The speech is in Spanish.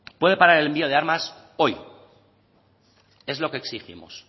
puede parar el envío de armas hoy es lo que exigimos